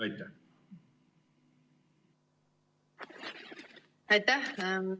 Aitäh!